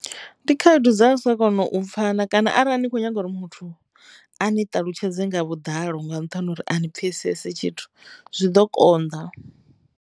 Ndi khaedu dza u sa kona u pfhana kana arali ni kho nyaga uri muthu a ni ṱalutshedze nga vhuḓalo nga nṱhani ha uri a ni pfhesese tshithu zwi ḓo konḓa.